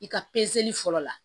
I ka fɔlɔ la